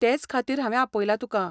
तेंच खातीर हांवें आपयलां तुका.